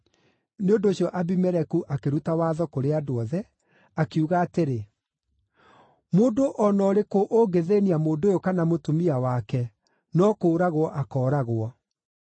Nĩ ũndũ ũcio Abimeleku akĩruta watho kũrĩ andũ othe, akiuga atĩrĩ, “Mũndũ o na ũrĩkũ ũngĩthĩĩnia mũndũ ũyũ kana mũtumia wake no kũũragwo akooragwo.”